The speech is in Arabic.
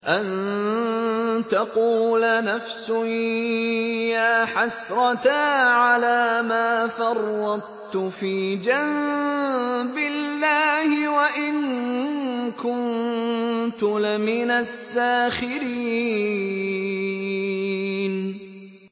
أَن تَقُولَ نَفْسٌ يَا حَسْرَتَا عَلَىٰ مَا فَرَّطتُ فِي جَنبِ اللَّهِ وَإِن كُنتُ لَمِنَ السَّاخِرِينَ